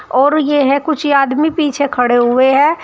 और ये है कुछ आदमी पीछे खड़े हुए हैं।